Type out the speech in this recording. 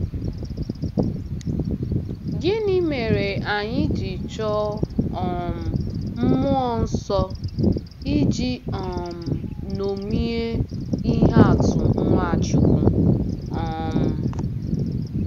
Gịnị mere anyị ji chọọ um mmụọ nsọ iji um ṅomie ihe atụ Nwachukwu? um